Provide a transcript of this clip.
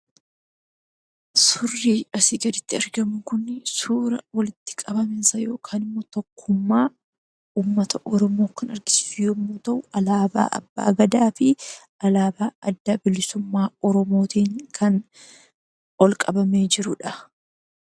Suurri asii gaditti argamu kun suura walitti qabama yookiin tokkummaa uummata Oromoo kan argisiisu yommuu ta'u, alaabaa Abbaa Gadaa fi alaabaa Adda Bilisummaa Oromootiin kan ol qabamee jirudha.